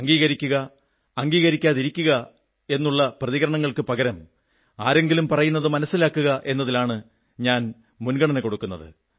അംഗീകരിക്കുക അംഗീകരിക്കാതിരിക്കുക എന്നുള്ള പ്രതികരണങ്ങൾക്കു പകരം ആരെങ്കിലും പറയുന്നത് മനസ്സിലാക്കുക എന്നതിലാണ് ഞാൻ മുൻ ഗണന കൊടുക്കുന്നത്